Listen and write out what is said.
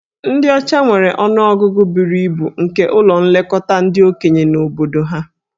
Ndị ọcha nwere ọnụ ọgụgụ buru ibu nke ụlọ nlekọta ndị okenye na obodo ha.